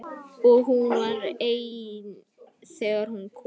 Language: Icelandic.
Og hún var ein þegar hún kom.